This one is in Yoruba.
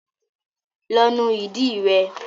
Lọ nu ìdí rẹ.